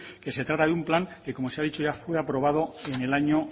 que se trata de un plan que como se ha dicho ya fue aprobado en el año